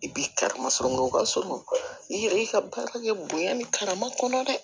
I bi karama sɔrɔ ka surun i yɛrɛ y'i ka baara kɛ bonya ni karama kɔnɔ dɛ